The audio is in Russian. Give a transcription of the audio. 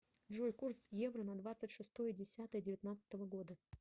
джой курс евро на двадцать шестое десятое девятнадцатого года